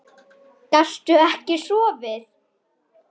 Gastu ekki sofið?